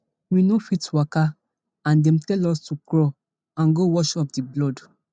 we no fit waka and dem tell us to crawl and go wash off di blood